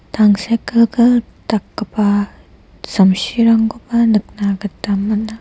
tangsekgilgil dakgipa samsirangkoba nikna gita man·a.